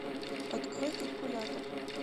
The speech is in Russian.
открой калькулятор